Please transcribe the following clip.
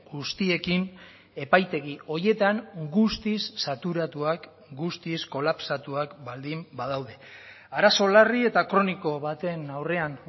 guztiekin epaitegi horietan guztiz saturatuak guztiz kolapsatuak baldin badaude arazo larri eta kroniko baten aurrean